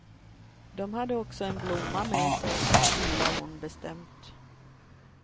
De hade också en blomma med sig, tillade hon bestämt.